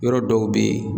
Yɔrɔ dɔw bɛ yen